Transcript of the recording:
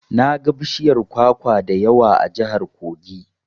Naga bishiyar kwakwa da yawa a jihar Kogi.